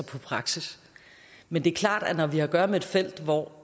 på praksis men det er klart at når vi har at gøre med et felt hvor